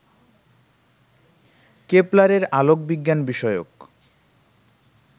কেপলারের আলোকবিজ্ঞান বিষয়ক